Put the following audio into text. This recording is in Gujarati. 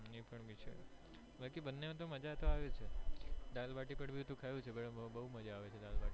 બંને માં પણ તો મજ્જા આવે છે દાળ ભાટી પણ મેં ખાધી છે બોજ મજ્જા આવે છે